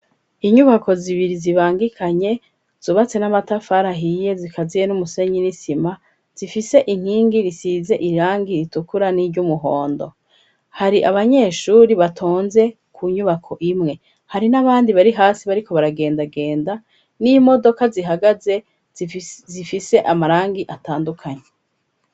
Inyubako zibiri zibangikanye zubatse n'amatafarahiye zikaziye n'umusenyi n'isima zifise inkingi risize irangi ritukura n'iry'umuhondo hari abanyeshuri batonze ku nyubako imwe hari n'abandi bari hasi bariko baragendagenda n'imodoka zihagaze zifise amarangi atandukanye.